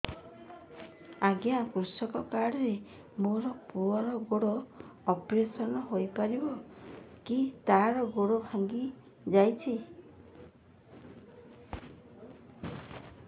ଅଜ୍ଞା କୃଷକ କାର୍ଡ ରେ ମୋର ପୁଅର ଗୋଡ ଅପେରସନ ହୋଇପାରିବ କି ତାର ଗୋଡ ଭାଙ୍ଗି ଯାଇଛ